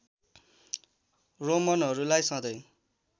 रोमनहरूलाई सधैँ